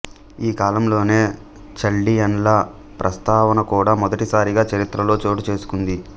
ఈ కాలంలోనే చల్డియన్ల ప్రస్తావన కూడా మొదటిసారిగా చరిత్రలో చోటు చేసుకుంది